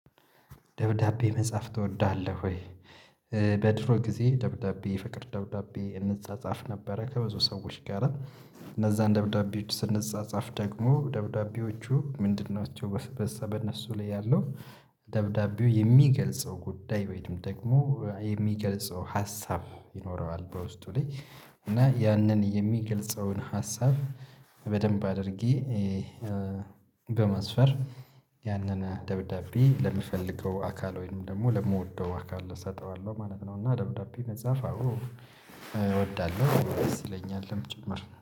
ደብዳቤ መጻፍ ትወዳለህ ወይ? በድሮ ጊዜ ደብዳቤ የፍቅር ደብዳቤ እንጻጻፍ ነበረ ከብዙ ሰዎች ጋር እነዛን ደብዳቤዎች ስንጻጻፍ ደግሞ ደብዳቤዎቹ ምንድን ናቸው? በእነሱ ላይ ያለው ደብዳቤው የሚገልጸው ጉዳይ ወይም ደግሞ የሚገልጸው ሀሳብ ይኖረዋል በውስጡ ላይ እና ያንን የሚገልጸውን ሀሳብ በደንብ አድርጌ በማስፈር ያንን ደብዳቤ ለምፈልገው አካል ወይም ደግሞ ለምወደው አካል እሰጠዋለሁ ማለት ነው። እና ደብዳቤ መጽሐፍ አዎ። እወዳለሁ ደስ ይለኛልም ጭምር